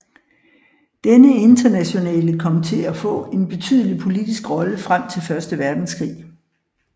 Denne Internationale kom til at få en betydelig politiske rolle frem til Første Verdenskrig